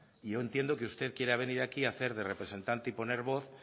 y yo entiendo que usted quiera venir aquí a hacer de representante y poner voz